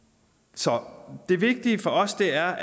så det vigtige for os er